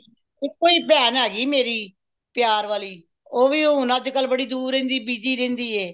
ਇੱਕੋ ਹੀ ਭੈਣ ਹੈਗੀ ਮੇਰੀ ਪਿਆਰ ਵਾਲੀ ਉਹ ਵੀ ਅੱਜ ਕਲ ਹੁਣ ਬਦੁ ਦੂਰ ਰਹਿੰਦੀ busy ਰਹਿੰਦੀ